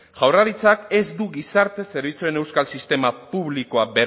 jaurlaritzak ez du gizarte zerbitzuen euskal sistema publikoa